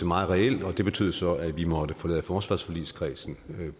meget reel og det betød så at vi måtte forlade forsvarsforligskredsen